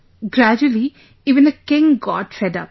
Gradually even the king got fed up